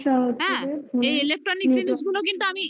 আ এই electronic জিনিসগুলো কিন্তু আমি